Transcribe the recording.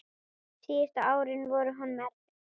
Síðustu árin voru honum erfið.